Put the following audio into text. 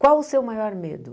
Qual o seu maior medo?